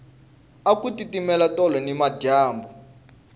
aku titimela tolo nimadyambu